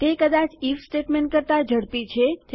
તે કદાચ if statement કરતા ઝડપી છે